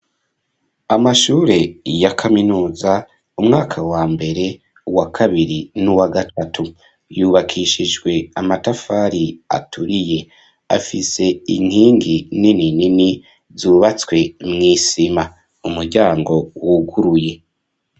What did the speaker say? Amashure ya kaminuza umwaka wa mbere wa kabiri n'uwa gatatu yubakishijwe amatafari aturiye afise inkingi nini nini zubatswe mw'isima umuryango wuguruye.